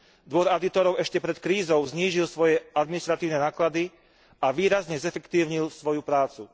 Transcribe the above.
Dvor audítorov ešte pred krízou znížil svoje administratívne náklady a výrazne zefektívnil svoju prácu.